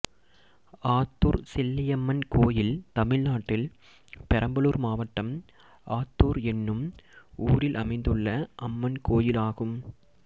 ஆத்துர் செல்லியம்மன் கோயில் தமிழ்நாட்டில் பெரம்பலூர் மாவட்டம் ஆத்துர் என்னும் ஊரில் அமைந்துள்ள அம்மன் கோயிலாகும்